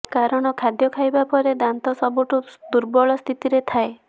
କାରଣ ଖାଦ୍ୟ ଖାଇବା ପରେ ଦାନ୍ତ ସବୁଠୁ ଦୁର୍ବଳ ସ୍ଥିତିରେ ଥାଏ